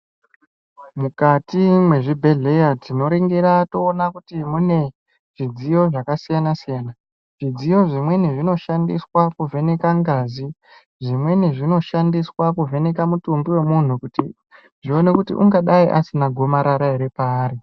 Mwukati mwezvibhedhleya tinoringira toona kuti mune zvidziyo zvakasiyana siyana. Zvidziyo zvimweni zvinoshandiswa kuvheneka ngazi, zvimweni zvinoshandiswa kuvheneka mutumbi wemunhu kuti zvione kuti ungadai asina gomarara ere paari.